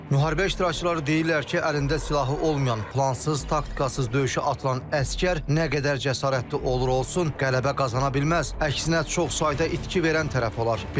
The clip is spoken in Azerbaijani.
Müharibə iştirakçıları deyirlər ki, əlində silahı olmayan, plansız, taktikasız döyüşə atılan əsgər nə qədər cəsarətli olur olsun, qələbə qazana bilməz, əksinə çox sayda itki verən tərəf olar.